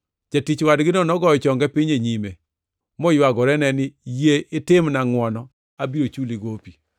“Jatich wadgino nogoyo chonge piny e nyime moywagorene ni, ‘Yie itimna ngʼwono, abiro chuli gopi.’